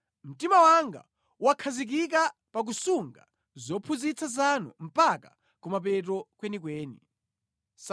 Mtima wanga wakhazikika pa kusunga zophunzitsa zanu mpaka kumapeto kwenikweni.